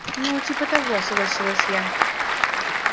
ну типа того согласилась я